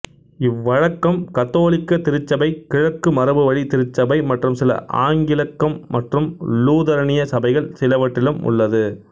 இவ்வழக்கம் கத்தோலிக்க திருச்சபை கிழக்கு மரபுவழி திருச்சபை மற்றும் சில ஆங்கிலிக்கம் மற்றும் லூதரனிய சபைகள் சிலவற்றிலும் உள்ளது